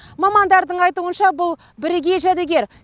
мамандардың айтуынша бұл бірегей жәдігер